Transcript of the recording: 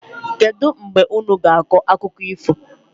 Kedụ mgbe unu ga-akọ akụkọ ifo?